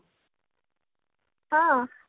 ହଁ